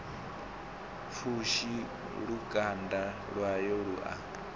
pfushi lukanda lwawe lu a